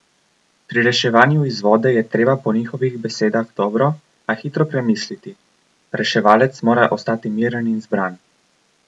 Pri reševanju iz vode je treba po njihovih besedah dobro, a hitro premisliti: "Reševalec mora ostati miren in zbran.